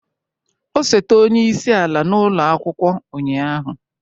Osote onye isi ala n'ụlọ akwụkwọ ụnyaahụ?